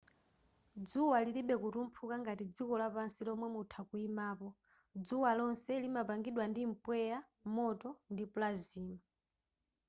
dzuwa lilibe kutumphuka ngati dziko lapansi lomwe mutha kuyimapo dzuwa lonse limapangidwa ndi mpweya moto ndi plasma